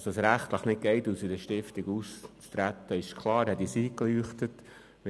Dass es rechtlich nicht möglich ist, aus einer Stiftung auszutreten ist klar und leuchtet uns ein.